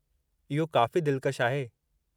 इहो काफ़ी दिलकशु आहे।